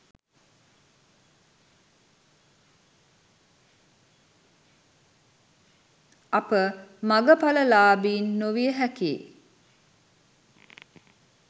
අප මග ඵල ලාබීන් නොවිය හැකියි